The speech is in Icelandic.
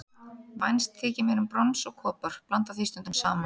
Vænst þykir mér um brons og kopar, blanda því stundum saman.